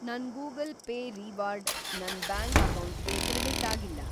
ನನ್‌ Google Pay reward ನನ್ bank ಅಕೌಂಟಿಗೆ‌ ಕ್ರೆಡಿಟ್‌ ಅಗಿಲ್ಲ.